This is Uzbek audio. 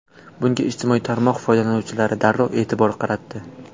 Bunga ijtimoiy tarmoq foydalanuvchilari darrov e’tibor qaratdi.